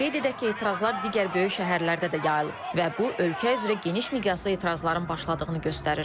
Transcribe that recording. Qeyd edək ki, etirazlar digər böyük şəhərlərdə də yayılıb və bu ölkə üzrə geniş miqyaslı etirazların başladığını göstərir.